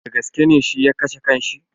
Dagaske ne shi ya kashe kan shi?